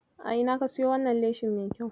A ina ka siyo wannan leshin mai kyau?